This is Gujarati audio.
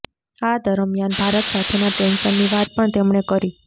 આ દરમિયાન ભારત સાથેના ટેન્શનની વાત પણ તેમણે કરી